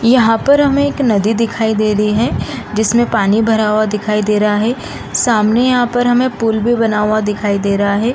यहाँ पर हमें एक नदी दिखाई दे रही है जिसमें पानी भरा हुआ दिखाई दे रहा है | सामने यहाँ पर हमें पुल भी बना हुआ दिखाई दे रहा है |